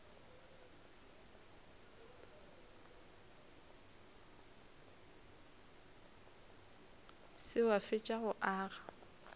se wa fetša go aga